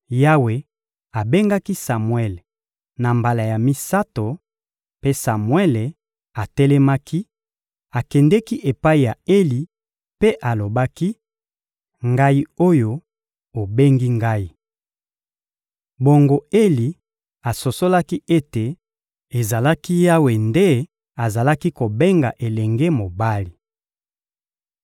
Yawe abengaki Samuele na mbala ya misato; mpe Samuele atelemaki, akendeki epai ya Eli mpe alobaki: — Ngai oyo, obengi ngai! Bongo Eli asosolaki ete ezalaki Yawe nde azalaki kobenga elenge mobali.